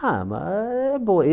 Ah, ma é boa.